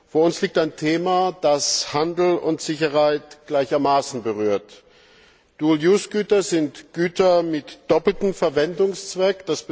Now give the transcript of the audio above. Vor uns liegt ein Thema, das Handel und Sicherheit gleichermaßen berührt. Güter sind Güter mit doppeltem Verwendungszweck.